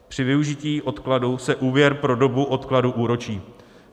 Při využití odkladu se úvěr pro dobu odkladu úročí.